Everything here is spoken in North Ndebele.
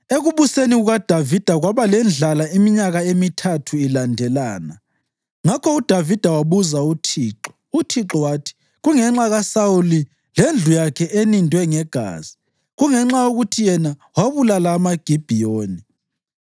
Ekubuseni kukaDavida kwaba lendlala iminyaka emithathu ilandelana; ngakho uDavida wabuza uThixo. UThixo wathi, “Kungenxa kaSawuli lendlu yakhe enindwe ngegazi; kungenxa yokuthi yena wabulala amaGibhiyoni.”